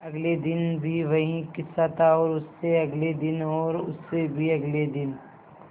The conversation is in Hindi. अगले दिन भी वही किस्सा था और उससे अगले दिन और उससे भी अगले दिन